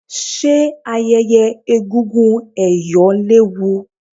ṣe ayẹyẹ egúngún ẹ̀yọ̀ léwu?